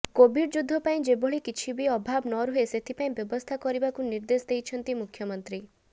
Covid ଯୁଦ୍ଧ ପାଇଁ ଯେଭଳି କିଛି ବି ଅଭାବ ନରୁହେ ସେଥିପାଇଁ ବ୍ୟବସ୍ଥା କରିବାକୁ ନିର୍ଦେଶ ଦେଇଛନ୍ତି ମୁଖ୍ୟମନ୍ତ୍ରୀ